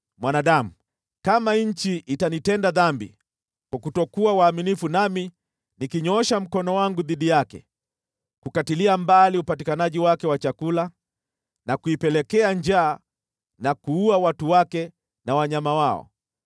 “Mwanadamu, kama nchi itanitenda dhambi kwa kutokuwa waaminifu nami nikinyoosha mkono wangu dhidi yake kukatilia mbali upatikanaji wake wa chakula na kuipelekea njaa na kuua watu wake na wanyama wao,